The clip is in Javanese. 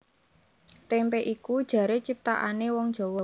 Témpé iku jaré ciptanané wong Jawa